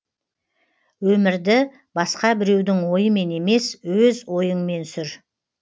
өмірді басқа біреудің ойымен емес өз ойыңмен сүр